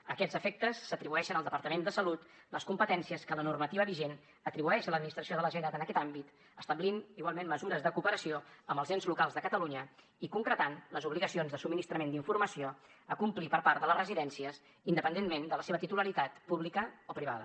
a aquests efectes s’atribueixen al departament de salut les competències que la normativa vigent atribueix a l’administració de la generalitat en aquest àmbit establint igualment mesures de cooperació amb els ens locals de catalunya i concretant les obligacions de subministrament d’informació a complir per part de les residències independentment de la seva titularitat pública o privada